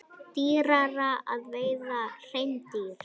Dýrara að veiða hreindýr